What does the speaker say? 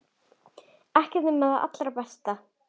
Ekkert nema það allra besta.